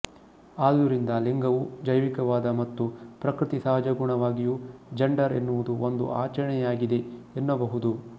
ಆದುದರಿಂದ ಲಿಂಗವೂ ಜೈವಿಕವಾದ ಮತ್ತು ಪ್ರಕೃತಿ ಸಹಜಗುಣವಾಗಿಯೂಜಂಡರ್ ಎನ್ನುವುದು ಒಂದು ಆಚರಣೆಯಾಗಿದೆ ಎನ್ನಬಹುದು